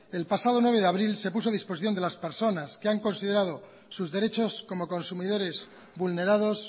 el pasado nueve de abril se puso a disposición de las personas que han considerado sus derechos como consumidores vulnerados